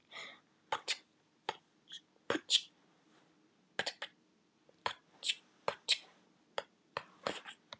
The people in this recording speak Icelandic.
Nú þegar er í bílum ýmiss konar sjálfvirkur búnaður sem kenna má við sjálfstýringu.